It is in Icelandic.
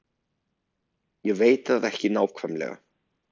Ég veit það ekki nákvæmlega.